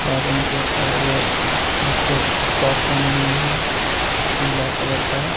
और इनके और वो अं अं ड्रेस फ्रॉक पहनी हे पीला कलर का.